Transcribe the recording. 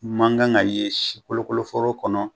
Man kan ka ye si kolokolo foro kɔnɔ.